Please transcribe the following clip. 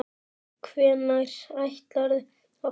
Hvenær ætlarðu að fara?